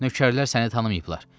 Nökərlər səni tanımayıblar.